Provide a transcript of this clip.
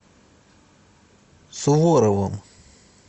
суворовым